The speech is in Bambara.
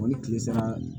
Ɔ ni tile sara